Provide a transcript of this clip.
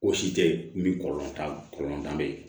O si tɛ ye min kɔrɔ t'a kɔlɔlɔ be yen